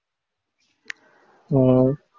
உம்